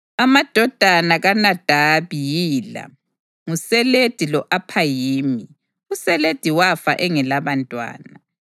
Amadodana kaNadabi yila: nguSeledi lo-Aphayimi. USeledi wafa engelabantwana.